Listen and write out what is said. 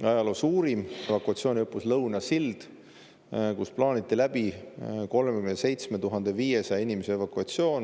ajaloo suurim evakuatsiooniõppus Lõuna Sild, kus 37 500 inimese evakuatsiooni.